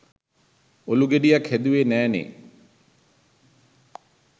ඔලු ගෙඩියක් හැදුවේ නෑනේ